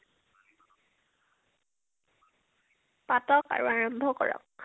পাতক আৰু । আৰম্ভ কৰক ।